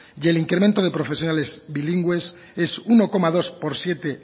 y el incremento de profesionales bilingües es uno coma dos por ciento